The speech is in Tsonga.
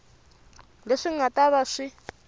leswi nga ta va swi